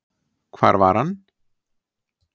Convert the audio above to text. Hvar var hann?